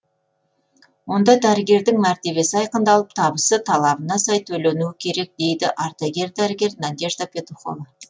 онда дәрігердің мәртебесі айқындалып табысы талабына сай төленуі керек дейді ардагер дәрігер надежда петухова